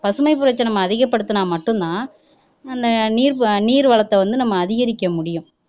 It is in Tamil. பசுமைப்புரட்சி அதிகப்படுத்டுனா மட்டுந்தான் அஹ் நீர் நீர் வளத்தை வந்து நம்ம அதிகரிக்க முடியும்